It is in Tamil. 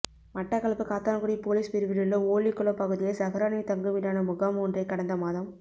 மட்டக்களப்பு காத்தான்குடி பொலிஸ் பிரிவிலுள்ள ஓல்லிக்குளம் பகுதியில் ஸஹ்ரானின் தங்குமிடான முகாம் ஒன்றைக் கடந்த மாதம்